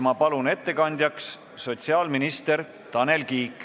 Ma palun ettekandjaks sotsiaalminister Tanel Kiige.